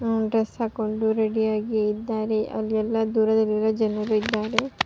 ಆ ಡ್ರೆಸ್ಸ್ ಹಾಕೊಂಡು ರೆಡಿ ಯಾಗಿದ್ದಾರೆ ಇಲ್ಲಿ ಎಲ್ಲ ದೂರದಲ್ಲಿರುವ ಜನರು ಇದ್ದಾರೆ.